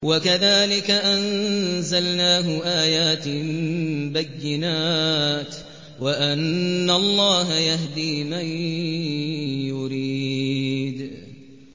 وَكَذَٰلِكَ أَنزَلْنَاهُ آيَاتٍ بَيِّنَاتٍ وَأَنَّ اللَّهَ يَهْدِي مَن يُرِيدُ